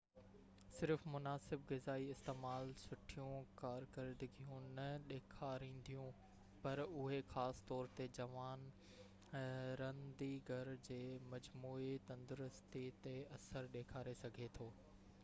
صرف مناسب غذائي استعمال سٺيون ڪارڪردگيون نہ ڏيکارينديون پر اهي خاص طور تي جوان رنديگر جي مجموعي تندرستي تي اثر ڏيکاري سگهي ٿو